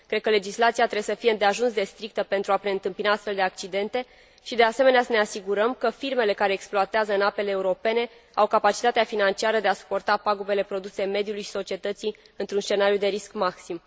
Cred că legislația trebuie să fie îndeajuns de strictă pentru a preîntâmpina astfel de accidente și, de asemenea, că trebuie să ne asigurăm că firmele care exploatează în apele europene au capacitatea financiară de a suporta pagubele produse mediului și societății într un scenariu de risc maxim.